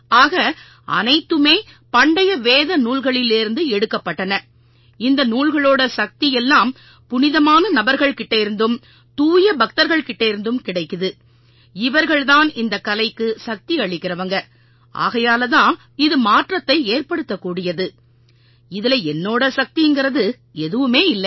ஆக அனைத்துமே பண்டைய வேத நூல்கள்லேர்ந்து எடுக்கப்பட்டன இந்த நூல்களோட சக்தி எல்லாம் புனிதமான நபர்கள்கிட்டேர்ந்தும் தூயபக்தர்கள் கிட்டேர்ந்தும் கிடைக்குது இவர்கள் தான் இந்தக் கலைக்கு சக்தி அளிக்கறவங்க ஆகையாலதான் இது மாற்றத்தை ஏற்படுத்தக்கூடியது இதுல என்னோட சக்திங்கறது எதுவுமே இல்லை